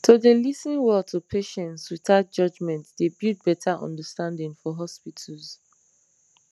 to dey lis ten well to patients without judgement dey build better understanding for hospitals